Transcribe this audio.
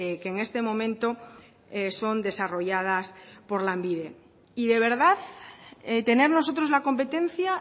que en este momento son desarrolladas por lanbide y de verdad tener nosotros la competencia